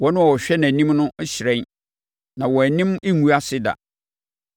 Wɔn a wɔhwɛ nʼanim no hyerɛn na wɔn anim rengu ase da.